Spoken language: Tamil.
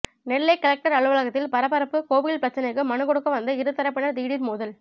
நெல்லை கலெக்டர் அலுவலகத்தில் பரபரப்பு கோவில் பிரச்சினைக்கு மனு கொடுக்க வந்த இருதரப்பினர் திடீர் மோதல்